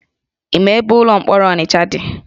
Ị ma ebe ụlọ mkpọrọ Ọnịcha dị?